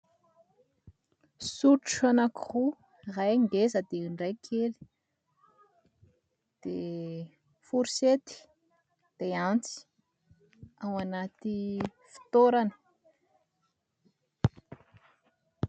Sotro ankiroa ,iray ngeza iray kely ary foursettte sy antsy ao anaty fitoerany.